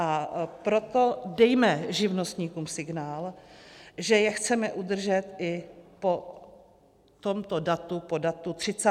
A proto dejme živnostníkům signál, že je chceme udržet i po tomto datu, po datu 30. dubna.